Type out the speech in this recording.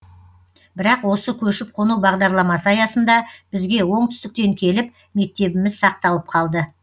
бірақ осы көшіп қону бағдарламасы аясында бізге оңтүстіктен келіп мектебіміз сақталып қалды